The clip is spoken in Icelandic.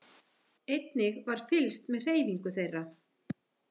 Einnig var fylgst með hreyfingu þeirra